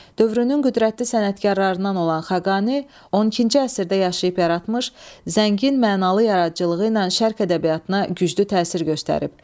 Dövrünün qüdrətli sənətkarlarından olan Xaqani 12-ci əsrdə yaşayıb yaratmış, zəngin mənalı yaradıcılığı ilə Şərq ədəbiyyatına güclü təsir göstərib.